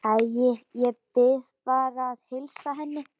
Æ, ég bið bara að heilsa henni